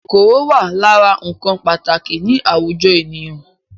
Kòkòrò wà lára ǹkan pàtàkì ni àwùjọ ènìyàn